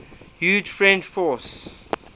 huge french force